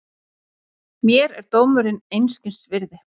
Mér er dómurinn einskis virði.